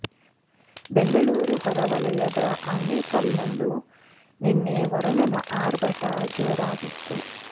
ಬೆಂಗಳೂರು ಹೊರವಲಯದ ಆನೇಕಲ್ ನಲ್ಲೂ ನಿನ್ನೆ ವರುಣನ ಆರ್ಭಟ ಜೋರಾಗಿತ್ತು